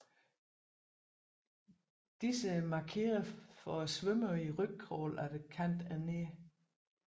Disse markerer for svømmere i rygcrawl at kanten er nær